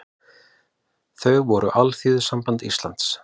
Þau voru Alþýðusamband Íslands